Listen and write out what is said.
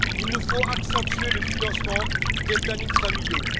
Il nous faut accentuer le financement des plannings familiaux.